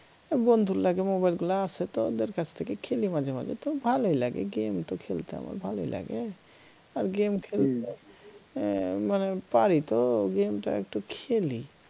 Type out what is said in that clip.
বন্ধুর লাগে mobile গুলা আছে তো ওদের কাছ থেকে খেলি মাঝেমাঝে তো ভালই লাগে game তো খেলতে আমার ভালোই লাগে আর game খেলতে এর মানে পারি তো game টা একটু খেলি